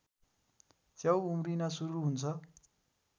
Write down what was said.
च्याउ उम्रिन सुरु हुन्छ